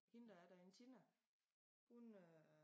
Hende der er derinde Tina hun øh